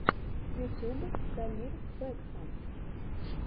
ютюб дамир бэкхам